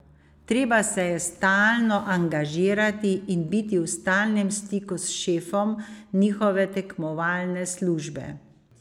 Treba se je stalno angažirati in biti v stalnem stiku s šefom njihove tekmovalne službe.